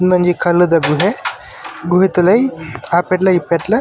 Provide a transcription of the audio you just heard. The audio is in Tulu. ಉಂದೊಂಜಿ ಕಲ್ಲುದ ಗುಹೆ ಗುಹೆತ ಉಲಾಯಿ ಆಪೆಡ್ಲ ಈಪೆಡ್ಲ.